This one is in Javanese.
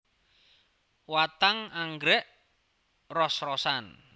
Watang anggrèk ros rosan